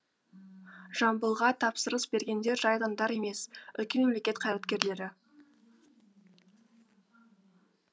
жамбылға тапсырыс бергендер жай адамдар емес үлкен мемлекет қайраткерлері